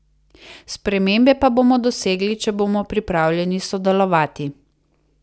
Spremembe pa bomo dosegli, če bomo pripravljeni sodelovati.